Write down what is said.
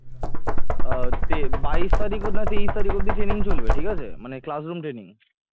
আহ তে বাইশ তারিখ না তেইশ তারিখ অবধি training চলবে ঠিক আছে মানে class room training